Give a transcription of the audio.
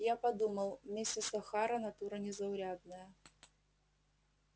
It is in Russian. я подумал мисс охара натура незаурядная